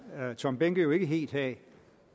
herre tom behnke jo ikke helt have